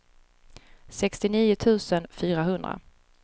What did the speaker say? sextionio tusen fyrahundra